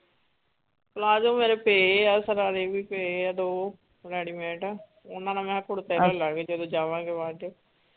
Palazzo ਮੇਰੇ ਪਏ ਆ ਸ਼ਰਾਰੇ ਵੀ ਪਏ ਆ ਦੋ ready mate ਓਹਨਾ ਨਾਲ ਮੈਂ ਕਿਹਾ ਕੁੜਤੇ ਲੈ ਲਾਂਗੀ ਜਦੋ ਜਾਵਾਂਗੇ ਬਾਅਦ ਚੋਂ.